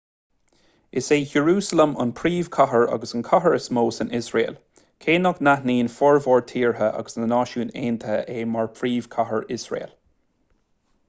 is é iarúsailéim an phríomhchathair agus an chathair is mó san iosrael cé nach n-aithníonn formhór tíortha agus na náisiúin aontaithe é mar phríomhchathair iosrael